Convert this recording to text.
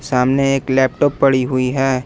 सामने एक लैपटॉप पड़ी हुई है।